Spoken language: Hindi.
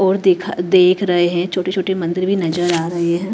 और दिखा देख रहे हैं छोटे छोटे मंदिर भी नजर आ रहे हैं।